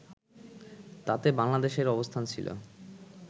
তাতে বাংলাদেশের অবস্থান ছিল